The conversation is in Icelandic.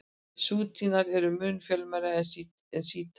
Súnnítar eru mun fjölmennari en sjítar.